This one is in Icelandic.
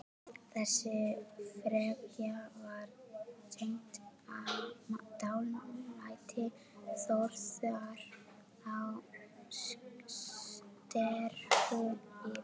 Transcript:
Þessi frekja var tengd dálæti Þórðar á sterku lífi.